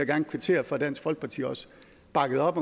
gerne kvittere for at dansk folkeparti også bakkede op